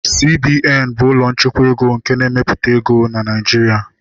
CBN bụ ụlọ nchekwa akụ nke na-emepụta ego na Naịjiria